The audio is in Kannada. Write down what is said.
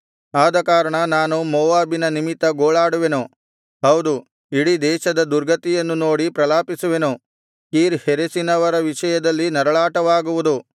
ಆದಕಾರಣ ನಾನು ಮೋವಾಬಿನ ನಿಮಿತ್ತ ಗೋಳಾಡುವೆನು ಹೌದು ಇಡೀ ದೇಶದ ದುರ್ಗತಿಯನ್ನು ನೋಡಿ ಪ್ರಲಾಪಿಸುವೆನು ಕೀರ್ ಹೆರೆಸಿನವರ ವಿಷಯವಾಗಿ ನರಳಾಟವಾಗುವುದು